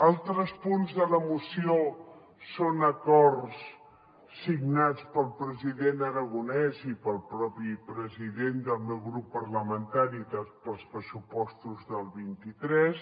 altres punts de la moció són acords signats pel president aragonès i pel propi president del meu grup parlamentari per als pressupostos del vint tres